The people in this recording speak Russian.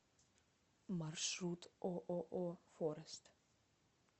маршрут ооо форест